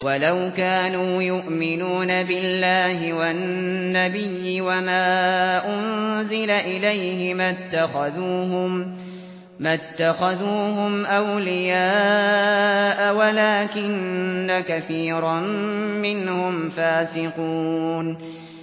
وَلَوْ كَانُوا يُؤْمِنُونَ بِاللَّهِ وَالنَّبِيِّ وَمَا أُنزِلَ إِلَيْهِ مَا اتَّخَذُوهُمْ أَوْلِيَاءَ وَلَٰكِنَّ كَثِيرًا مِّنْهُمْ فَاسِقُونَ